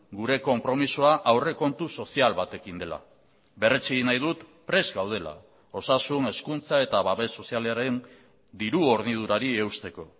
gure konpromisoa aurrekontu sozial batekin dela berretsi egin nahi dut prest gaudela osasun hezkuntza eta babes sozialaren diru hornidurari eusteko